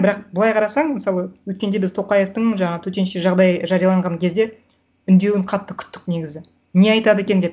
бірақ былай қарасаң мысалы өткенде біз тоқаевтың жаңа төтенше жағдай жарияланған кезде үндеуін қатты күттік негізі не айтады екен деп